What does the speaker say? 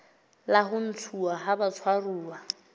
la ho ntshuwa ha batshwaruwa